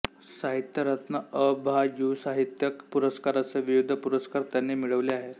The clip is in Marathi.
साहित्यरत्न अ भा युवासाहित्यिक पुरस्कार असे विविध पुरस्कार त्यांनी मिळविले आहे